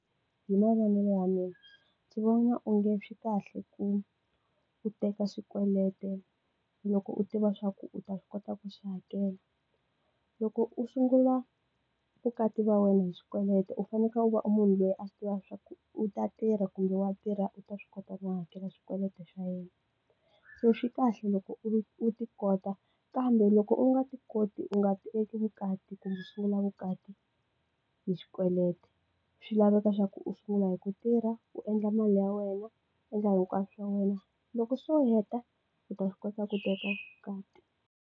Hi mavonele ya mina, ndzi vona onge swi kahle ku u teka swikweleti loko u tiva leswaku u ta swi kota ku swi hakela. Loko u sungula vukati bya wena hi swikweleti u fanekele u va munhu loyi a swi tiva swa u ta tirha kumbe wa tirha u ta swi kota ku hakela swikweleti swa yena. So swi kahle loko u ti kota, kambe loko u nga ti koti u nga eka vukati kumbe sungula vukati hi xikweleti. Swi laveka leswaku u sungula hi ku tirha, u endla mali ya wena, u endla hinkwaswo swa wena, loko se u heta ku ta swi kota ku teka vukati.